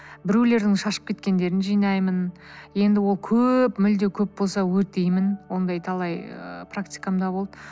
біреулердің шашып кеткендерін жинаймын енді ол көп мүлде көп болса өртеймін ондай талай ыыы практикамда болды